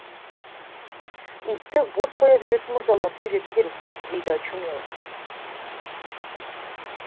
итті бос қоя беретін мырзаларды үйрету керек дейді очумелов